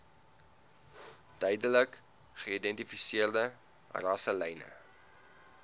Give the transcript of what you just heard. duidelik geïdentifiseerde rasselyne